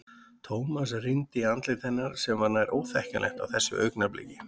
Thomas rýndi í andlit hennar sem var nær óþekkjanlegt á þessu augnabliki.